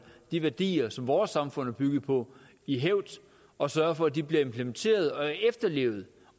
de værdier som vores samfund er bygget på i hævd og sørge for at de bliver implementeret og efterlevet